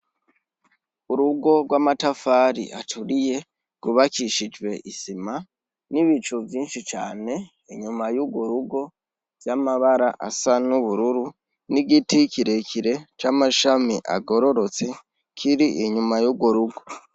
Urugo rw'amatafari aturiye, rwubakishijwe isima, n'ibicu vyinshi cane, inyuma y'urwo rugo vy'amabara asa n'ubururu, n'igiti kirekire c'amashami agororotse, kiri inyuma y'urwo rugo.